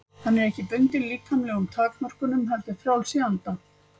Hann er ekki bundinn líkamlegum takmörkunum heldur frjáls í anda.